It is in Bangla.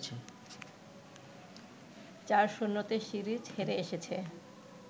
৪-০তে সিরিজ হেরে এসেছে